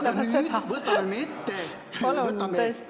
Palun, tõesti, andke andeks!